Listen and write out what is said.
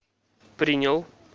принял